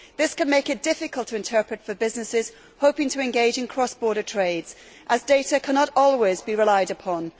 This can make it difficult to interpret for businesses hoping to engage in cross border trades as data cannot always be relied upon.